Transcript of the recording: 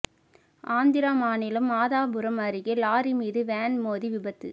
ஆந்திர மாநிலம் மாதாபுரம் அருகே லாரி மீது வேன் மோதி விபத்து